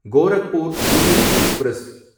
Gorakhpur Pune express